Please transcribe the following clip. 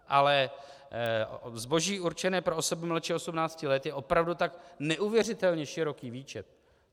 Ale zboží určené pro osoby mladší 18 let je opravdu tak neuvěřitelně široký výčet.